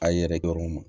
A ye yɛrɛkɛ u ma